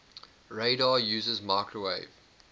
radar uses microwave